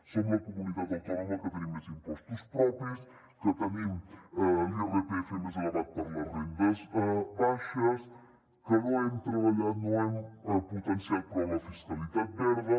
som la comunitat autònoma que tenim més impostos propis que tenim l’irpf més elevat per a les rendes baixes que no hem potenciat prou la fiscalitat verda